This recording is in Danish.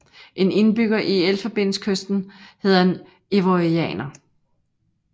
En indbygger i Elfenbenskysten hedder en ivorianer